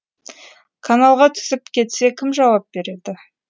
каналға түсіп кетсе кім жауап береді